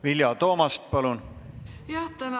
Vilja Toomast, palun!